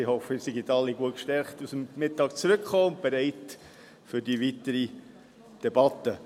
Ich hoffe, Sie sind alle gut gestärkt aus dem Mittag zurückgekommen und bereit für die weitere Debatte.